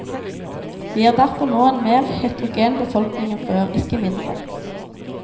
Vi har derfor nå en mer heterogen befolkning enn før, ikke mindre.